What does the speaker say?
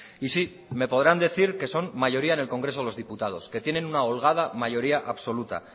y sí me podrán decir que son mayoría en el congreso de los diputados que tienen una holgada mayoría absoluta